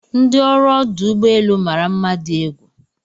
ndi ọrụ ọdụ ụgbọ elu mara mma di egwu